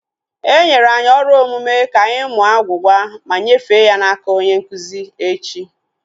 Enyere anyi ọrụ omume ka anyị mụọ agwugwa ma nyefee ya n'aka onye nkụzi echi